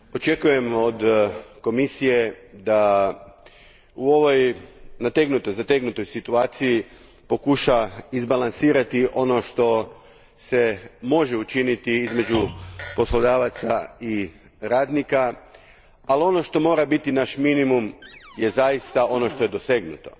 Gospođo predsjednice, očekujemo od Komisije da u ovoj zategnutoj situaciji pokuša izbalansirati ono što se može učiniti između poslodavaca i radnika, ali ono što mora biti naš minimum je zaista ono što je dosegnuto.